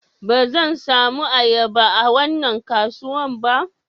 Ba zan samu ayaba a wannan kasuwan ba